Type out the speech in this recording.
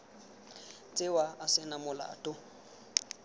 tsewa a se na molato